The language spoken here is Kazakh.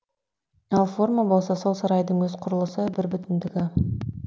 ал форма болса сол сарайдың өз құрылысы бірбүтіндігі